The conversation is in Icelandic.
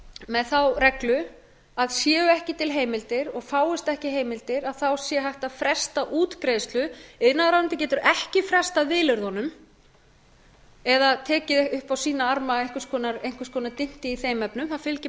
með þá reglu að séu ekki til heimildir og fáist ekki heimildir þá sé hægt að fresta útgreiðslu iðnaðarráðuneytið getur ekki frestað vilyrðum eða tekið upp á sína arma einhvers konar dynti í þeim efnum það fylgir bara